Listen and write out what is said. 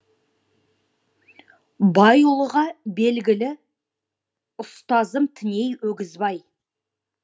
байұлыға белгілі ұстазым тіней өгізбай